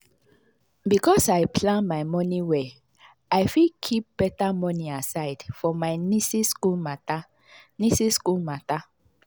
because i plan my money well i fit keep better money aside for my nieces school matter. nieces school matter.